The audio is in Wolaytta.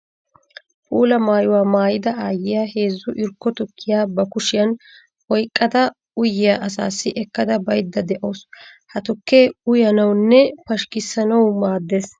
Puula maayuwa maayidda aayiya heezzu irkko tukkiya ba kushiyan oyqqadda uyiya asaassi ekkadda baydde de'awussu. Ha tukke uyanawunne pashkkissanawu maades.